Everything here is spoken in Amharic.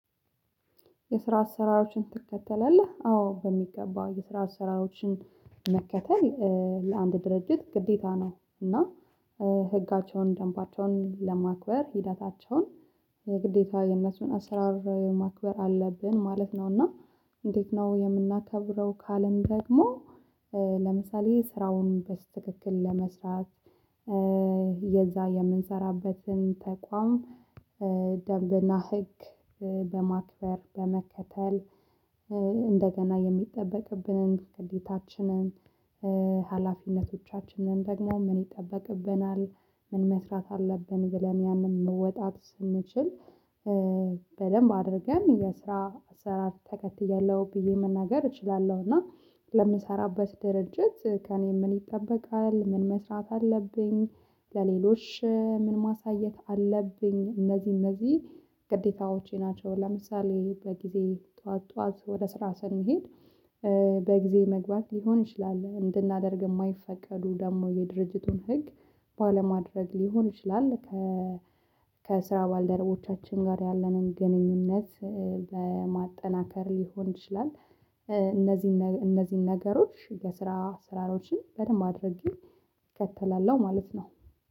የስራ አሰራሮችን ትከተላለህ? አዎ በሚገባ የስራ ስራዎችን መከተል ለአንድ ድርጅት ግዴታ ነው እና ህጋቸውን ደንባቸውን ለማክበር ሂደታቸውን የግዴታ የነሱን አሰራር ማክበር አለብን ማለት ነው። እና እንዴት ነው የምናከብረው ካለም ደግሞ ለምሳሌ ስራውን በትክክል ለመስራት የዛ የምንሰራበትን ተቋም ደንብና ህግ በማክበር በመከተል እንደገና የሚጠበቅብንን ግዴታችንን ሀላፊነቶቻችንን ደግሞ ምን ይጠበቅብናል ምን መስራት አለብን ብለን ያንን መወጣት ስንችል በደንብ አድርገን የስራ ስራ አራት ተከትያለሁ ብዬ መናገር እችላለሁ። እና ለምሰራበት ድርጅት ከእኔ ምን ይጠበቃል ምን መስራት አለብኝ ለሌሎች ምን ማሳየት አለብኝ እነዚህ እነዚህ ግዴታዎቼ ናቸው። ለምሳሌ በጊዜ ጠዋት ጠዋት ወደ ስራ ስንሄድ በጊዜ መግባት ሊሆን ይችላል እንድናደርግ የማይፈቀዱ ደግሞ የድርጅቱን ህግ ባለማድረግ ሊሆን ይችላል ከ ከስራ ባልደረቦቻችን ጋር ያለንን ግንኙነት ለማጠናከር ሊሆን ይችላል። እነዚህን እነዚህን ነገሮች የስራ አሰራሮችን በደንብ አድርጌ እከተላለሁ ማለት ነው